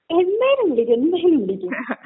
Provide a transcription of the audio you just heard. എന്തായാലും വിളിക്കും, എന്തായാലും വിളിക്കും.